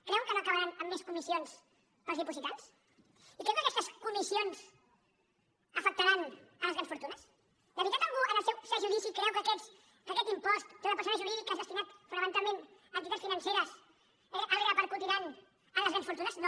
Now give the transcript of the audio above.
creuen que no acabaran en més comissions per als dipositants i creuen que aquestes comissions afectaran les grans fortunes de veritat algú en el seu sa judici creu que aquest impost sobre persones jurídiques destinat fonamentalment a entitats financeres el repercutiran en les grans fortunes no